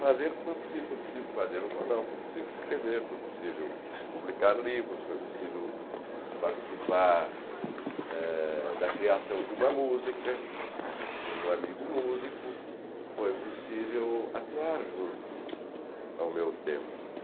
fazer o que foi possível fazer um jornal, foi possível escrever, foi possível publicar livros, foi possível participar eh da criação de uma música, de um amigo músico, foi possível atuar junto ao meu tempo.